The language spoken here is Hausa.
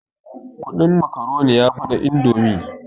Kudin makaroni yafi na indomi